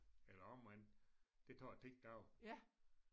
Eller omvendt det tager 10 dage